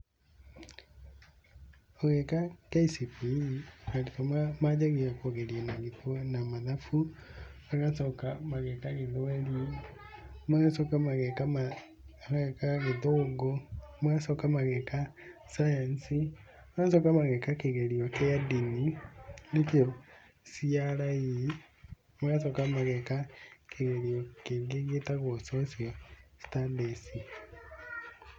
Ũgĩka KCPE arutwo manjagia kũgerio na mathabu, magacoka mageka gĩthweri magacoka mageka gĩthũngũ, magacoka mageka cayanci, magacoka mageka kĩgerio kĩa ndĩni nĩkio CRE, magacoka mageka kĩgerio kĩngĩ gĩtagwo Social Studies.